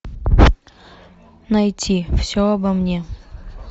найти все обо мне